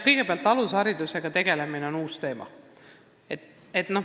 Kõigepealt, alusharidusega tegelemine on uus teema.